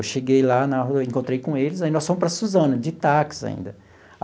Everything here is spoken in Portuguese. Eu cheguei lá na rua, encontrei com eles, aí nós fomos para Suzano, de táxi ainda.